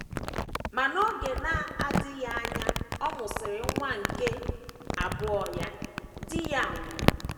Ma n’oge na - adịghị anya ọ mụsịrị nwa nke abụọ ya, di ya nwụrụ.